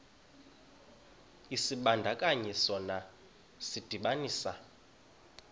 isibandakanyi sona sidibanisa